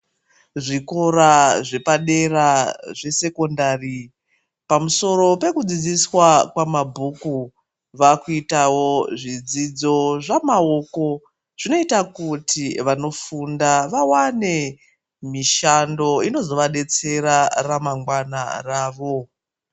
Zvikora zvepadera zvesekondari, pamusoro pekudzidziswa kwamabhuku vakuitawo zvidzidzo zvamaoko zvinoita kuti vanofunda vawane mishando inozovadetsera ramangwana ravo.